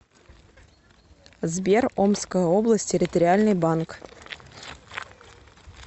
сбер омская область территориальный банк